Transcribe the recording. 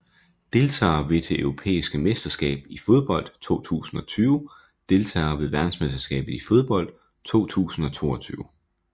Deltagere ved det europæiske mesterskab i fodbold 2020 Deltagere ved verdensmesterskabet i fodbold 2022